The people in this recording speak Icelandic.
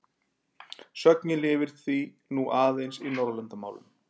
Sögnin lifir því nú aðeins í Norðurlandamálum.